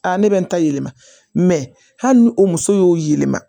Aa ne bɛ n ta yɛlɛma hali ni o muso y'o yɛlɛma